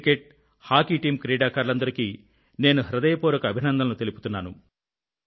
cricket hockey team క్రీడాకారులందరికీ నేను హృదయపూర్వక అభినందనలు తెలుపుతున్నాను